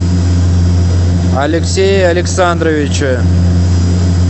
алексее александровиче